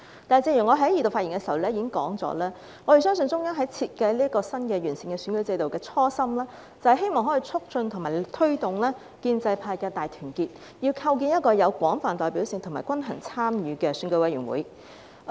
然而，正如我在二讀辯論發言時指出，我們相信中央設計新的完善選舉制度的初心，是希望可以促進和推動建制派的大團結，要構建一個有廣泛代表性及均衡參與的選委會。